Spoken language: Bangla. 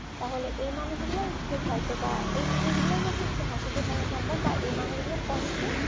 তাহলে এই মানুষগুলো একটু হয়তোবা এই মানুষগুলোর মধ্যে একটু হাসিখুশি সম্ভব বা এই মানুষগুলোর কষ্ট